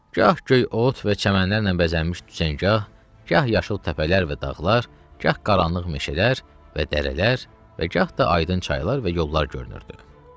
Gah göy ot və çəmənlərlə bəzənmiş düzəngah, gah yaşıl təpələr və dağlar, gah qaranlıq meşələr və dərələr, və gah da aydın çaylar və yollar görünürdü.